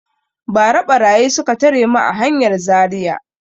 Ba ra ɓarayi suka tare mu a hanyar Zaria